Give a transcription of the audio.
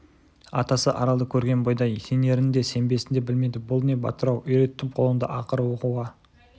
атасы аралды көрген бойда сенерін де сенбесін де білмеді бұл не батыр-ау үйреттім құлынды ақыры оқуға